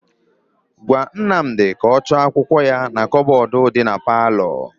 Gwa Nnamdị ka ọ chọọ akwụkwọ ya na kabọọdụ dị na paalọ.